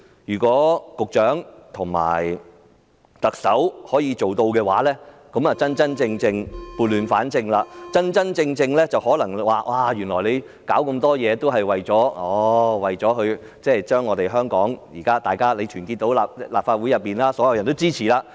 如果局長和特首可以做到這些事，便確實能夠撥亂反正，告訴大家他們所做的一切也是為了團結香港，得到立法會內所有議員的支持。